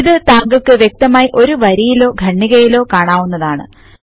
ഇത് താങ്കള്ക്ക് വ്യക്തമായി ഒരു വരിയിലോ ഖണ്ഡികയിലോ കാണാവുന്നതാണ്